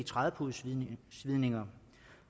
trædepudesvidninger